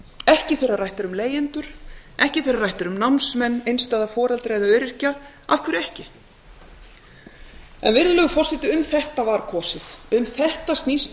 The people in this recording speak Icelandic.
ekki þegar rætt er um leigjendur ekki þegar rætt er um námsmenn einstæða foreldra eða öryrkja af hverju ekki virðulegur forseti um þetta var kosið um þetta snýst